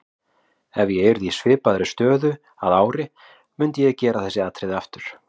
Ef ég yrði í svipaðri stöðu að ári myndi ég gera þessi atriði aftur.